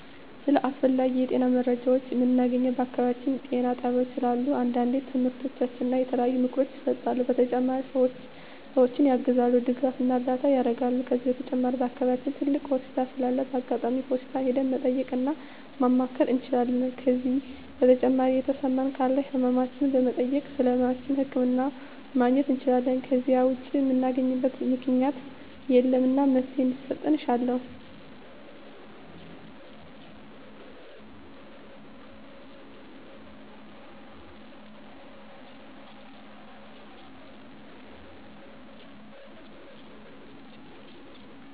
ስለ አስፈላጊ የጤና መረጃዎችን ምናገኘው በአካባቢያችን ጤና ጣቤያዎች ስላሉ አንዳንዴ ትምህርቶች እና የተለያዩ ምክሮች ይሰጣሉ በተጨማሪ ሰዎችን ያግዛሉ ድጋፍና እርዳታ ያረጋሉ ከዚህ በተጨማሪ በአከባቢያችን ትልቅ ሆስፒታል ስላለ በአጋጣሚ ወደ ሆስፒታል ሄደን መጠየቅ እና ማማከር እንችላለን ከዜ በተጨማሪ የተሰማን ካለ ህመማችን በመጠየክ ስለህመማችን ህክምና ማግኘት እንችላለን ከዜ ውጭ ምናገኝበት ምክኛት የለም እና መፍትሔ እንዲሰጥ እሻለሁ